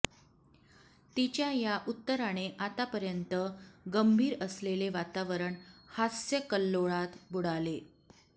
तिच्या या उत्तराने आतापर्यंत गंभीर असलेले वातावरण हास्यकल्लोळात बुडाले